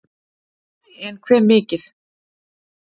en hve mikið